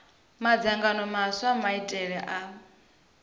madzangano maswa a maitele a